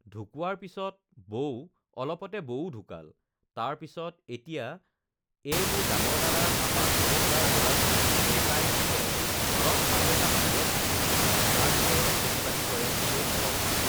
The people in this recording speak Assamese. ঢুকোৱাৰ পিছত বৌও অলপতে বৌও ঢুকাল, তাৰ পিছত এতিয়া এই মোৰ ডাঙৰ দাদাৰ আমাৰ সৰু দাদাৰ ল'ৰাটো এটাই থাকে, ঘৰত আৰু এটা বাহিৰত থাকে, তাৰ ভিতৰত খেতি-বাতি কৰে সিয়ে অলপমান